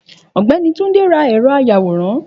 Ògbẹ́ni Túndé ra ẹ̀rọ àyawòrán